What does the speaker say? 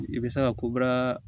I bɛ se ka kobaara